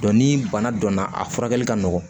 ni bana dɔnna a furakɛli ka nɔgɔn